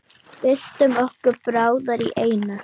Byltum okkur báðar í einu.